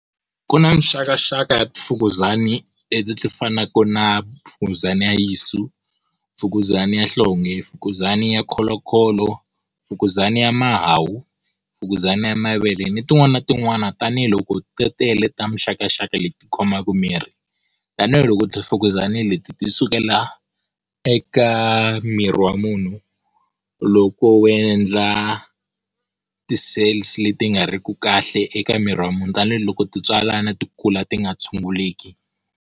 Ku na mixakaxaka ya tifukuzana leti ti fanaka na fukuzana ya yinsu, fukuzana ya nhlonge, fukuzana ya kholokholo, fukuzana ya mahawu, fukuzana ya mavele ni tin'wana na tin'wana. Tanihiloko ti tele ta mixakaxaka leti khomaka miri. Tanihiloko ti fukuzana leti ti sukela eka miri wa munhu loko wu endla ti-cells leti nga ri ku kahle eka miri wa munhu, tanihiloko ti tswalana ti kula ti nga tshunguleki.